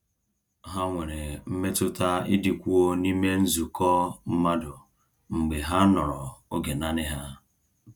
Ha nwere mmetụta ịdịkwuo n’ime nzukọ mmadụ mgbe ha nọrọ oge naanị ha.